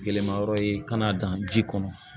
Gɛlɛma yɔrɔ ye ka n'a dan ji kɔnɔ